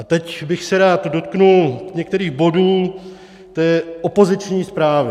A teď bych se rád dotkl některých bodů té opoziční zprávy.